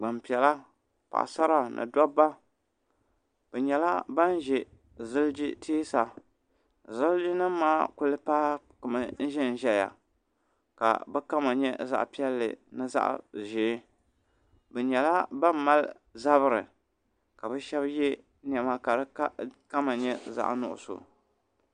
Gbanpiɛla paɣasara ni dɔbba bi nyɛla ban ʒɛ ziliji teesa ziliji nim maa kuli paaki mi n ʒɛn ʒɛya ka bi kama nyɛ zaɣa piɛlli ni zaɣa ʒee bi nyɛla ban mali zabiri ka bi shɛba yɛ nɛma ka di kama nyɛ zaɣa nuɣusu.